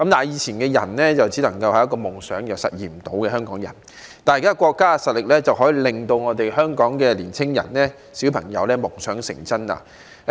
以前只能是一個夢想，因為香港人實現不到，但現在國家的實力可以讓香港的年青人、小朋友夢想成真。